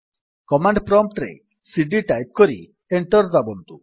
command prompt ରେ CD type କରି enter ଦାବନ୍ତୁ